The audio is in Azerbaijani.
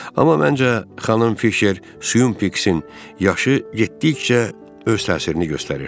Amma məncə xanım Fişer Suympiksin yaşı getdikcə öz təsirini göstərir.